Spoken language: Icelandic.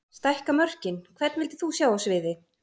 Stækka mörkin Hvern vildir þú sjá á sviði?